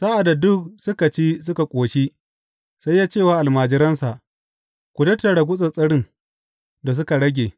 Sa’ad da duk suka ci suka ƙoshi, sai ya ce wa almajiransa, Ku tattara gutsattsarin da suka rage.